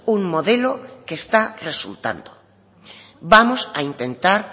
un modelo que está resultando vamos a intentar